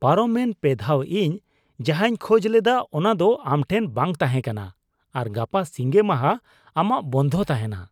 ᱯᱟᱨᱚᱢ ᱮᱱ ᱯᱮᱫᱷᱟᱣ ᱤᱧ ᱡᱟᱦᱟᱸᱧ ᱠᱷᱚᱡ ᱞᱮᱫᱟ ᱚᱱᱟ ᱫᱚ ᱟᱢ ᱴᱷᱮᱱ ᱵᱟᱝ ᱛᱟᱦᱮᱸ ᱠᱟᱱᱟ ᱟᱨ ᱜᱟᱯᱟ ᱥᱤᱸᱜᱮ ᱢᱟᱦᱟ ᱟᱢᱟᱜ ᱵᱚᱱᱫᱷᱚ ᱛᱟᱦᱮᱱᱟ ᱾